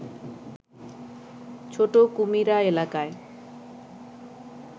ছোট কুমিরা এলাকায়